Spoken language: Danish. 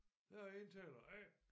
Jeg er indtaler A